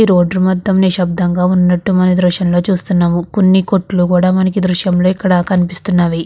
ఈ రోడ్డు మొత్తం నిశబ్దం గా ఉన్నట్టు మనం ఈ దృశ్యం లో చూస్తున్నాము కొన్ని కొట్లు కూడా మనకి ఈ దృశ్యం లో ఇక్కడ కనిపిస్తున్నది.